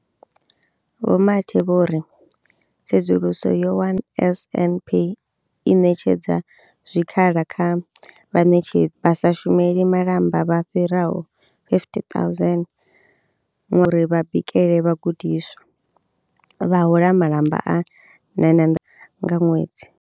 Vho Mathe vho ri, Tsedzuluso yo wana NSNP i ṋetshedza zwikhala kha vhaṋetshedzi vha sa shumeli malamba vha fhiraho 50 000 uri vha bikele vhagudiswa, vha hola malamba a R960 nga ṅwedzi.